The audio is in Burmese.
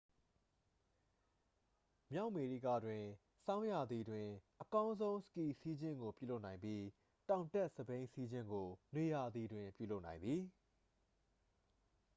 မြောက်အမေရိကတွင် ဆောင်းရာသီတွင် အကောင်းဆုံးစကီစီးခြင်းကိုပြုလုပ်နိုင်ပြီး တောင်တက်စက်ဘီးစီးခြင်းကို နွေရာသီတွင်ပြုလုပ်နိုင်သည်